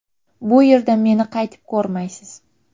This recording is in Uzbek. Bu yerda meni qaytib ko‘rmaysiz.